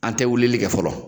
An tɛ wulili kɛ fɔlɔ